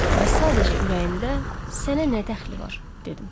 Və sadəcə ürəyimdə, sənə nə dəxli var, dedim.